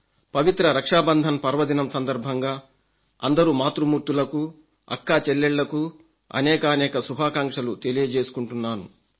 పవిత్ర రక్షాబంధన్ పర్వదినం సందర్భంగా అందరు మాతృమూర్తులకు అక్కాచెల్లెళ్లకు అనేకానేక శుభాకాంక్షలు తెలియజేసుకుంటున్నాను